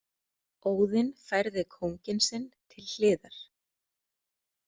Óðinn færði kónginn sinn til hliðar.